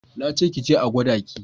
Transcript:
Na ce ki je a gwada ki!